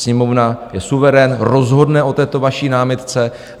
Sněmovna je suverén, rozhodne o této vaší námitce.